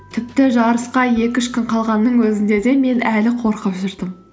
тіпті жарысқа екі үш күн қалғанның өзінде де мен әлі қорқып жүрдім